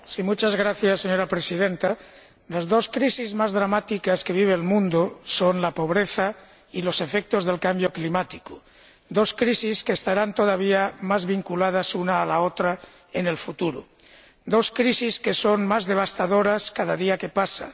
Señora Presidenta, las dos crisis más dramáticas que vive el mundo son la pobreza y los efectos del cambio climático dos crisis que estarán todavía más vinculadas una a la otra en el futuro, dos crisis que son, cada día que pasa, más devastadoras.